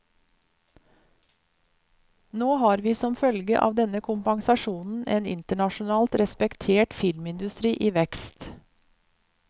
Nå har vi som følge av denne kompensasjonen, en internasjonalt respektert filmindustri i vekst.